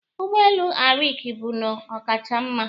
Ụgbọelu Arik bụnnọ ọkacha mma